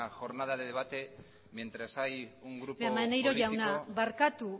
jornada de debate mientras hay un grupo maneiro jauna barkatu